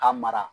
Ka mara